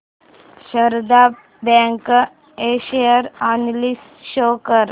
Sharda bank share analysis show कर